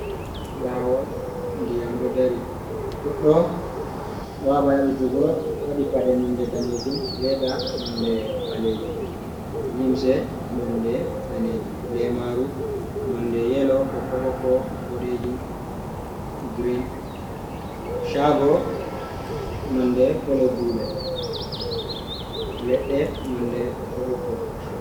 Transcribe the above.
Lawol ndiyam ɗo dari godɗo ɗo haba yabɓutugo waɗi paɗe nonde danejum, leda nonde ɓalejum, limse nonde danejum, lemaru nonde yelo ,ɓokko ɓokko, boɗejum, girin, shago nonde kolo dule, leɗɗe nonde ɓokko ɓokko.